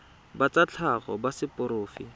ba tsa tlhago ba seporofe